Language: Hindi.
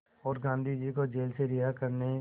और गांधी को जेल से रिहा करने